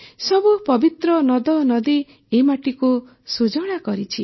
ସବୁ ପବିତ୍ର ନଦନଦୀ ଏ ମାଟିକୁ ସୁଜଳା କରିଛି